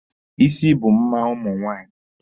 Isi bụ mma ụmụ nwaanyị.